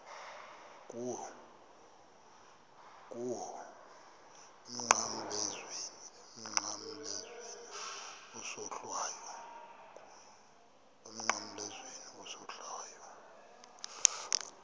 kuwe emnqamlezweni isohlwayo